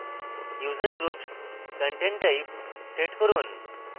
user groups content type set করুন